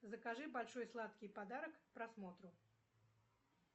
закажи большой сладкий подарок к просмотру